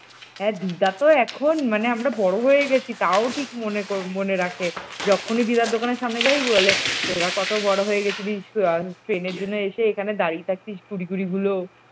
হ্যাঁ দিদা তো এখন মানে আমরা বড় হয়ে গেছি তাও ঠিক মনে মনে রাখে, যখনই দিদার দোকানে সামনে যাই বলে তোরা কত বড় হয়ে গেছিলিস ট্রেনের জন্য এসে এখানে দাঁড়িয়ে থাকতিস । কুড়ি কুড়িগুলো